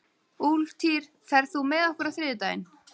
Úlftýr, ferð þú með okkur á þriðjudaginn?